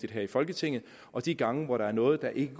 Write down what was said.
her i folketinget og de gange hvor der er noget der ikke